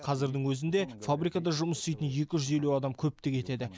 қазірдің өзінде фабрикада жұмыс істейтін екі жүз елу адам көптік етеді